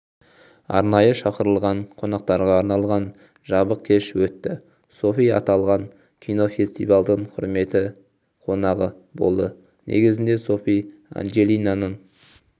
арнайы шақырылған қонақтарға арналған жабық кеш өтті софи аталған кинофестивальдің құрметті қонағы болды негізінде софи анджелинаның